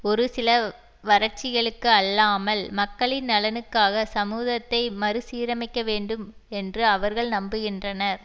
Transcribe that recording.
ஒருசிலவரட்சிகளுக்கு அல்லாமல் மக்களின் நலனுக்காக சமூகத்தை மறுசீரமைக்கவேண்டும் என்று அவர்கள் நம்புகின்றனர்